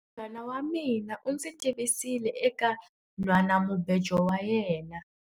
Munghana wa mina u ndzi tivisile eka nhwanamubejo wa yena.